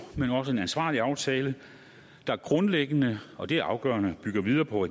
men også ansvarlig aftale der grundlæggende og det er afgørende bygger videre på